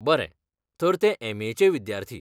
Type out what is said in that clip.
बरें, तर तें एम ए चें विद्यार्थी .